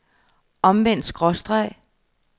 omvendt skråstreg